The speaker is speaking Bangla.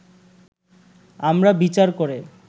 আমরা বিচার করে